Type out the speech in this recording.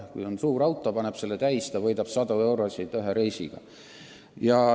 Kui on suur auto, ta paneb selle täis ja võidab sadu eurosid ühe reisiga.